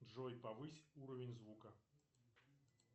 джой повысь уровень звука